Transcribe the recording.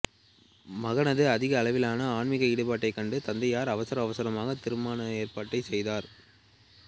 மகனது அதிக அளவிலான ஆன்மிக ஈடுபாட்டைக் கண்ட தந்தையார் அவசர அவசரமாக திருமண ஏற்பாட்டைச் செய்தார்